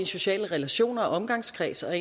sociale relationer omgangskreds og